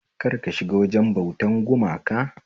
Kar ka shiga wajen bautan gumaka